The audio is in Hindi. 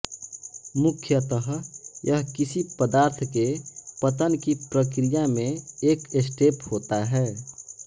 मुख्यतः यह किसी पदार्थ के पतन कि प्रक्रिया में एक स्टेप होता है